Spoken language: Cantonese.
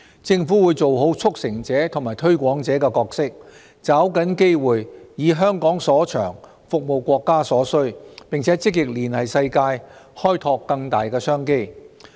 政府會做好"促成者"和"推廣者"的角色，抓緊機會，以香港所長，服務國家所需，並積極連繫世界，開拓更大商機。